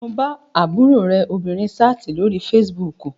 Mo bá àbúrò rẹ obìnrin sáàtì lórí fesibúùkù